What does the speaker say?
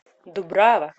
дубрава